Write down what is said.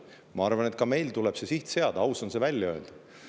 Ma arvan, et ka meil tuleb see siht seada ja aus on see välja öelda.